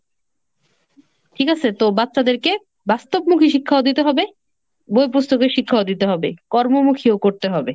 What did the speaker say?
ঠিক আসে, তো বাচ্চাদেরকে বাস্তবমুখী শিক্ষা ও দিতে হবে, বইপ্রস্তকের শিক্ষা দিতে হবে, কর্মমুখীও করতে হবে।